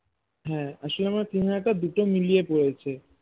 হ্যাঁ আসলে আমার তিন হাজার টা দুটো মিলিয়ে পড়েছে